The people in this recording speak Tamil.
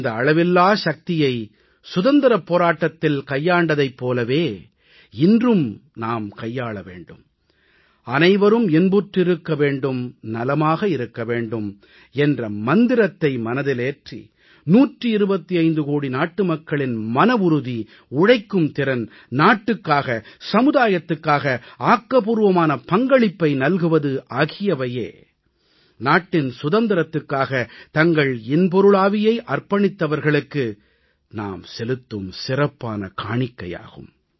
இந்த அளவில்லாச் சக்தியை சுதந்திரப் போராட்டத்தில் கையாண்டதைப் போலவே இன்றும் நாம் கையாள வேண்டும் அனைவரும் இன்புற்றிருக்க வேண்டும் நலமாக இருக்க வேண்டும் என்ற மந்திரத்தை மனதிலேற்றி 125 கோடி நாட்டு மக்களின் மனவுறுதி உழைக்கும் திறன் நாட்டுக்காக சமுதாயத்துக்காக ஆக்கப்பூர்வமான பங்களிப்பை நல்குவது ஆகியவையே நாட்டின் சுதந்திரத்துக்காக தங்கள் இன்பொருளாவியை அர்ப்பணித்தவர்களுக்கு நாம் செலுத்தும் சிறப்பான காணிக்கையாகும்